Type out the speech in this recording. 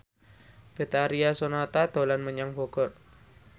Betharia Sonata dolan menyang Bogor